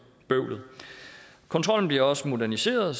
bøvlet kontrollen bliver også moderniseret